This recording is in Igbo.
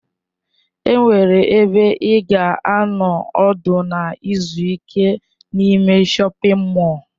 Enwere ebe ị ga-anọ ọdụ na izu ike n'ime shọpin mọll.